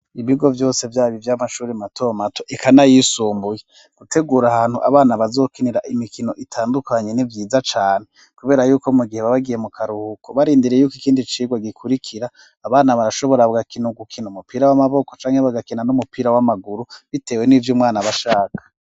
Ibigo vyose vyaba ivy'amashuri mato mato eka n'ayisumbuye, gutegura ahantu abana bazokinira imikino itandukanye ni vyiza cane ,kubera yuko mu gihe baba bagiye mu karuhuko, barindiriye yuko ikindi cigwa gikurikira abana barashobora bagakina urukino umupira w'amaboko ,canke bagakina n'umupira w'amaguru ,bitewe n'ivy'umwana bashaka.